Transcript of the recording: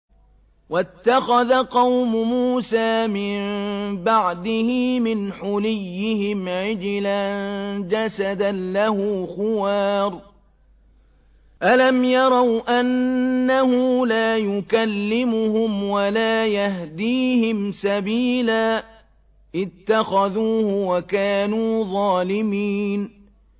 وَاتَّخَذَ قَوْمُ مُوسَىٰ مِن بَعْدِهِ مِنْ حُلِيِّهِمْ عِجْلًا جَسَدًا لَّهُ خُوَارٌ ۚ أَلَمْ يَرَوْا أَنَّهُ لَا يُكَلِّمُهُمْ وَلَا يَهْدِيهِمْ سَبِيلًا ۘ اتَّخَذُوهُ وَكَانُوا ظَالِمِينَ